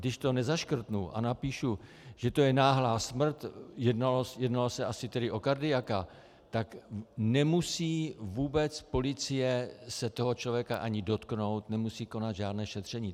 Když to nezaškrtnu a napíšu, že to je náhlá smrt - jednalo se asi tedy o kardiaka - tak nemusí vůbec policie se toho člověka ani dotknout, nemusí konat žádné šetření.